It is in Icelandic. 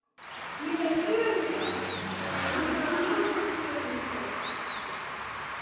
Mér leið ömurlega á meðan á samförunum stóð.